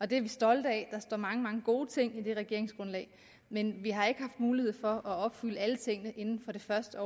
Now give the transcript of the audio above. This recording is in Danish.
det er vi stolte af der står mange mange gode ting i det regeringsgrundlag men vi har ikke haft mulighed for at opfylde alle tingene inden for det første